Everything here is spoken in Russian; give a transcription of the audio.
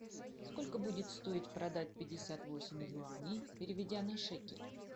сколько будет стоить продать пятьдесят восемь юаней переведя на шекель